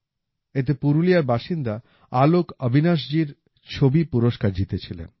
এতে পুরুলিয়ার বাসিন্দা আলোক অবিনাশজির ছবি পুরস্কার জিতেছিলেন